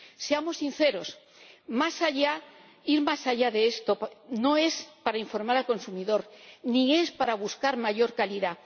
Seamos sinceros ir más allá de esto no es para informar al consumidor, ni es para buscar mayor calidad